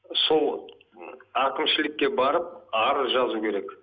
сол м әкімшілікке барып арыз жазу керек